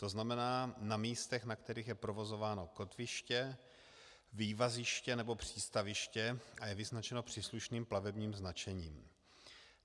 To znamená na místech, na kterých je provozováno kotviště, vývaziště nebo přístaviště a je vyznačeno příslušným plavebním značením.